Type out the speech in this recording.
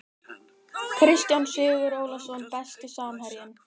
Kristján Sigurólason Besti samherjinn?